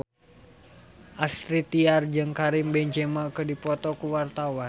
Astrid Tiar jeung Karim Benzema keur dipoto ku wartawan